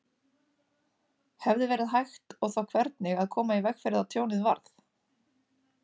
Hefði verið hægt og þá hvernig að koma í veg fyrir að tjónið varð?